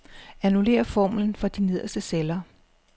Annullér formlen for de nederste celler.